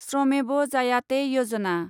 श्रमेब जायाते यजना